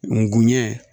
N guɲɛ